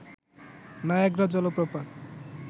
Niagara জলপ্রপাত